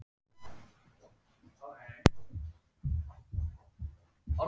Sömuleiðis hafa hrafntinna, líparít og granít eins efnasamsetning en ólíka kornastærð.